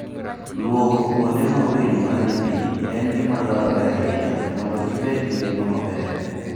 Lwoko kuonde ma winy modhoe pi en gima dwarore ahinya mondo gibed gi ngima maber.